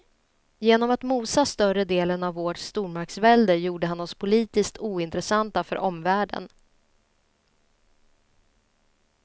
Genom att mosa större delen av vårt stormaktsvälde gjorde han oss politiskt ointressanta för omvärlden.